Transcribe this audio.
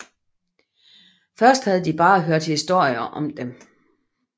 Først havde de bare hørt historier om dem